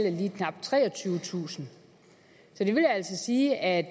er lige knap treogtyvetusind så det vil altså sige at